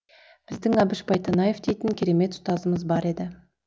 біздің әбіш байтанаев дейтін керемет ұстазымыз бар еді